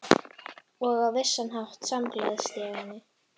Og á vissan hátt samgleðst ég henni.